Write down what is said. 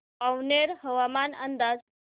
पारनेर हवामान अंदाज